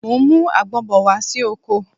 Mo ń mú àgbon bọ̀ wá sí oko